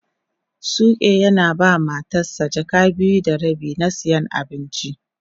Suke yana ba ma Matan sa jaka biyu da rabi na siyan abinci.